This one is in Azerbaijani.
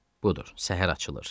Budur, səhər açılır.